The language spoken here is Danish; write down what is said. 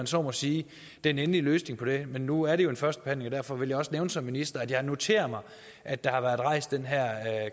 så må sige den endelige løsning på det men nu er det jo en første behandling og derfor vil jeg også nævne som minister at jeg har noteret mig at der har været rejst den her